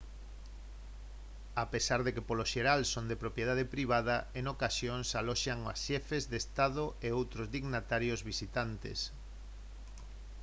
a pesar de que polo xeral son de propiedade privada en ocasións aloxan a xefes de estado e outros dignitarios visitantes